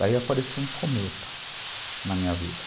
Daí apareceu um cometa na minha vida.